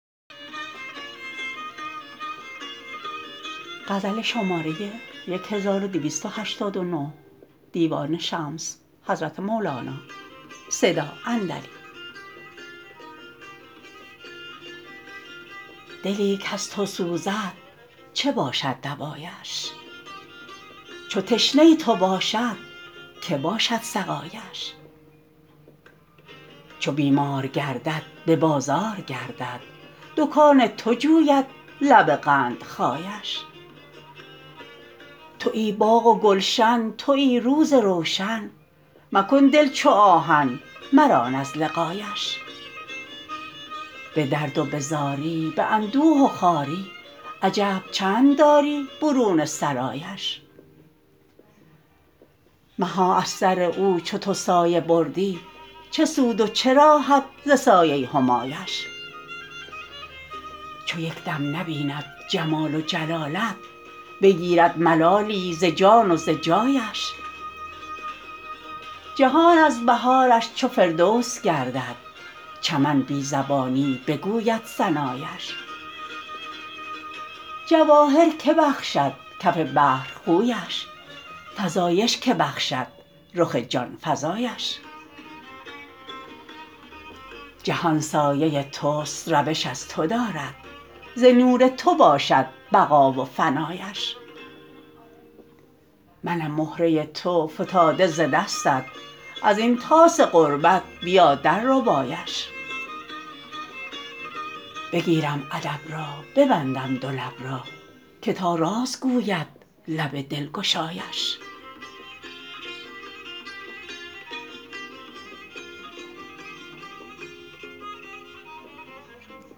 دلی کز تو سوزد چه باشد دوایش چو تشنه تو باشد که باشد سقایش چو بیمار گردد به بازار گردد دکان تو جوید لب قندخایش توی باغ و گلشن توی روز روشن مکن دل چو آهن مران از لقایش به درد و به زاری به اندوه و خواری عجب چند داری برون سرایش مها از سر او چو تو سایه بردی چه سود و چه راحت ز سایه همایش چو یک دم نبیند جمال و جلالت بگیرد ملالی ز جان و ز جایش جهان از بهارش چو فردوس گردد چمن بی زبانی بگوید ثنایش جواهر که بخشد کف بحر خویش فزایش که بخشد رخ جان فزایش جهان سایه توست روش از تو دارد ز نور تو باشد بقا و فنایش منم مهره تو فتاده ز دستت از این طاس غربت بیا درربایش بگیرم ادب را ببندم دو لب را که تا راز گوید لب دلگشایش